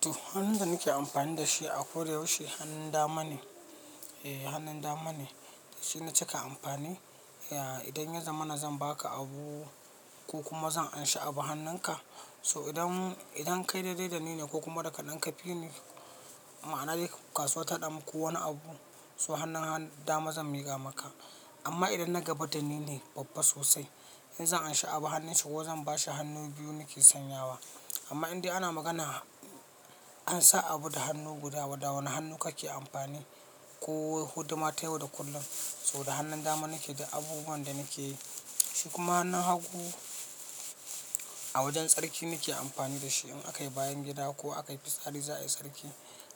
To hannun da nake amfani da shi a kodayaushe hannun dama ne. Eh hannun dama ne dashina cika amfani. Ya idan ya zama na zan baka abu ko kuma zan anshi abu hannunka. So idan, idan kai daidai da ni ne ko kuma daka ɗan kafi ni, ma'ana dai ka suwa tahaɗamu ko wani abu so hannun hannun dama zan miƙa maka. Amma idan na gaba da ni ne babba sosai in zan anshi abu hannunshi ko zan bashi hannu biyu nake sanyawa. Amma indai ana magana ansan abu da hannu guda, wada wane hannu kake amfani ko huduma ta yau da kullum. So da hannun dama nake duk abubuwan da nake yi. Shi kuma hannun hagu a wajen tsarki nake amfani da shi in aka yi bayan gida ko aka yi fitsari za a yi tsarki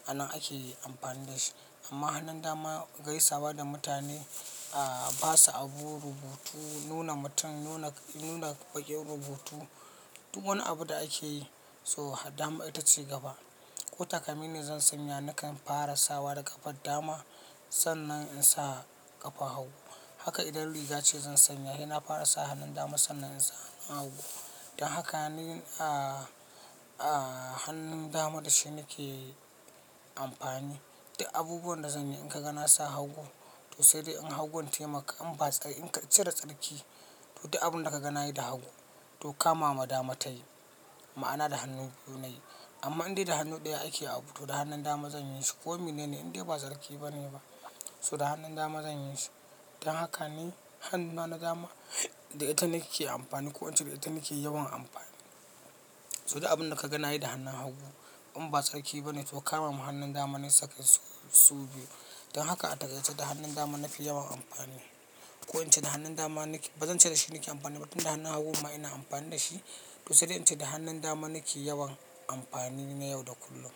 a nan ake yi amfani da shi. Amma hannun dama gaisawa da mutane, a basu abu, rubutu, nuna mutum, nuna, nuna baƙin, rubutu, duk wani abu da ake yi so dama ita ce gaba. Ko takalmi ne zan sanya nakan fara sawa da ƙafar dama sannan in sa ƙafar hagu. Haka idan rigace zan sanya saina fara sa hannun dama sannan insa hannun hagu. Don haka ni a hannun dama da shi nake amfani duk abubuwan da zan yi in ka ga na sa hagu to sai dai in hagunta maka in ba tsari, inka cire tsarki. To duk abun da ka ga na yi da hagu to kama ma dama tayi. Ma'ana da hannu biyu nayi. Amma indai da hannu ɗaya ake abu to da hannun dama zan yishi ko mine ne indai ba tsarki ba ne ba so da hannun dama zan yishi. Don haka ni hannuna na dama da ita nake amfani ko in ce da ita nake yawan amfani. So duk abun da ka ga na yi da hannun hagu in ba tsarki ba ne to kama man hannun dama na saka su biyu. Don haka a taƙaice da hannun dama nafi yawan amfani. Ko in ce da hannun dama nake ba zan ce da shi nake amfani ba tun da hannun hagun ma ina amfani da shi to sai dai in ce da hannun dama nake yawan amfani na yau da kullum.